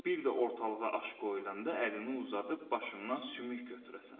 Bir də ortalığa aş qoyulanda əlini uzadıb başımdan sümük götürəsən.